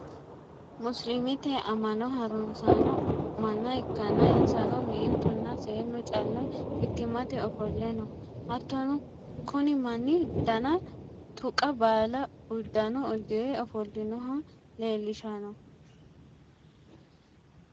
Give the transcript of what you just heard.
musulumete amma'no harunsanno manna ikkanna, insano meentunna seennu callu mittimmate ofolle noo. hattono kuni manni dana tuqa baala uddano uddire ofolinoha leelishshanno.